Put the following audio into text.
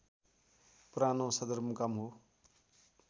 पुरानो सदरमुकाम हो